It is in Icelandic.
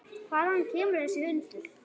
Hvaðan kemur þessi hundur?